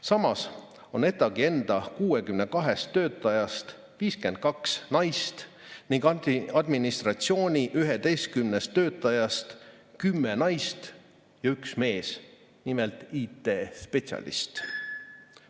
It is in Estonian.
Samas on ETAg-i enda 62 töötajast 52 naist ning administratsiooni 11 töötajast 10 naist ja üks mees, IT-spetsialist.